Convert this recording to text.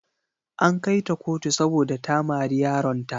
An kai ta kotu saboda ta mari yaronta.